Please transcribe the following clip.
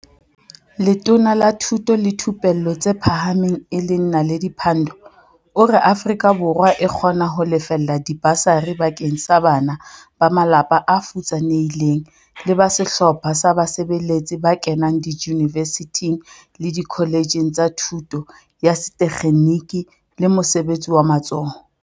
Letona la Thuto le Thupello tse Pha hameng e leng Na ledi Pandor o re Afrika Borwa e kgona ho lefella dibasari bakeng sa bana ba malapa a futsanehileng le ba sehlopha sa basebeletsi ba kenang diyunivesithing le dikholetjheng tsa Thuto ya Setekgeniki le Mosebe tsi wa Matsoho, TVET, ka 2018.